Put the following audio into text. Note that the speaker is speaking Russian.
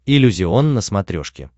иллюзион на смотрешке